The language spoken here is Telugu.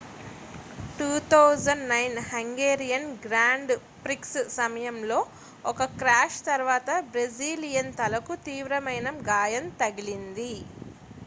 2009 హంగేరియన్ గ్రాండ్ ప్రిక్స్ సమయంలో ఒక క్రాష్ తరువాత బ్రెజిలియన్ తలకు తీవ్రమైన గాయం తగిలింది